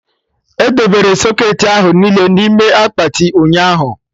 Edebere socketị ahụ niile n'ime akpati, ụnyaahụ